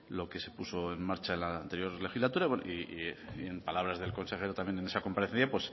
lo que se puso en marcha en la anterior legislatura y en palabras del consejero también en esa comparecencia